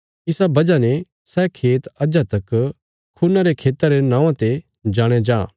इसा बजह ने सै खेत अज्जा तक खून्ना रे खेता रे नौआं रे जाणया जां